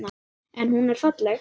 En hún er falleg.